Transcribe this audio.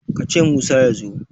ka ce Musa ya zo!